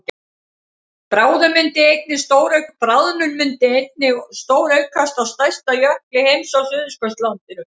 bráðnun myndi einnig stóraukast á stærsta jökli heims á suðurskautslandinu